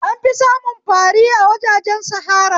An fi samun fari a wajajen sahara